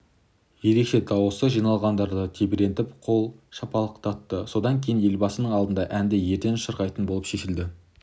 ерекше дауысы жиналғандарды тебірентіп қол шапалақтатты содан кейін елбасының алдында әнді ерден шырқайтын болып шешілді